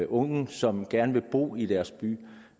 unge som gerne vil bo i deres by